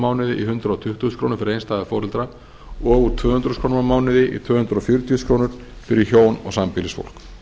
mánuði í hundrað tuttugu þúsund krónur fyrir einstæða foreldra og úr tvö hundruð þúsund krónur á mánuði í tvö hundruð fjörutíu þúsund fyrir hjón og sambýlisfólk